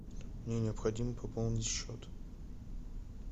мне необходимо пополнить счет